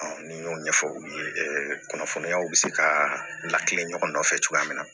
ni y'o ɲɛfɔ u ye kunnafoniyaw bɛ se ka lakile ɲɔgɔn nɔfɛ cogoya min na